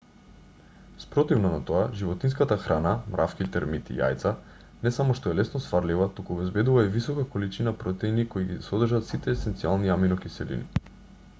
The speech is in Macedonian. спротивно на тоа животинската храна мравки термити јајца не само што е лесно сварлива туку обезбедува и висока количина протеини кои ги содржат сите есенцијални аминокиселини